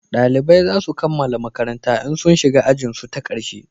dalibai zasu kammala makaranta in sun shiga ajin su ta karshe